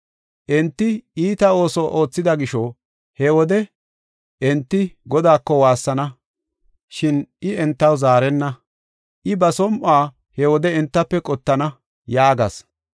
Enti iita ooso oothida gisho, he wode enti Godaako waassana, shin I entaw zaarenna; I ba som7uwa he wode entafe qottana” yaagas.